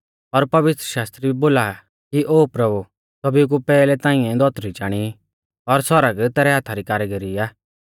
और पवित्रशास्त्र भी बोला आ कि ओ प्रभु सौभी कु पैहलै तांइऐ धौतरी चाणी और सौरग तैरै हाथा री कारीगरी आ